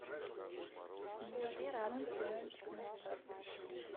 девятый сезон сериальчик на старт